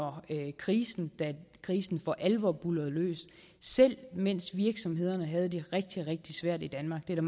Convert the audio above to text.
krisen krisen for alvor brød løs selv mens virksomhederne havde det rigtig rigtig svært i danmark det er